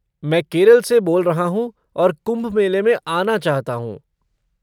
मैं केरल से बोल रहा हूँ और कुंभ मेले में आना चाहता हूँ।